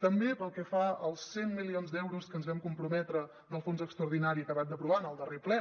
també pel que fa als cent milions d’euros que ens vam comprometre del fons extraordinari acabat d’aprovar en el darrer ple